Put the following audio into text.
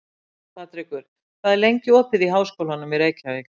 Patrekur, hvað er lengi opið í Háskólanum í Reykjavík?